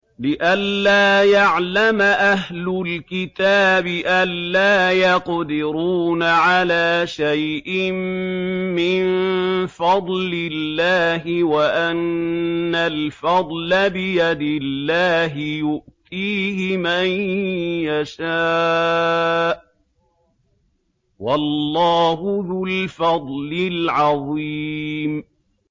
لِّئَلَّا يَعْلَمَ أَهْلُ الْكِتَابِ أَلَّا يَقْدِرُونَ عَلَىٰ شَيْءٍ مِّن فَضْلِ اللَّهِ ۙ وَأَنَّ الْفَضْلَ بِيَدِ اللَّهِ يُؤْتِيهِ مَن يَشَاءُ ۚ وَاللَّهُ ذُو الْفَضْلِ الْعَظِيمِ